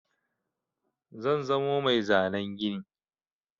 Zan zamo mai zanen gini.